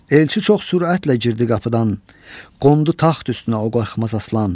Elçi çox sürətlə girdi qapıdan, qondu taxt üstünə o qorxmaz aslan.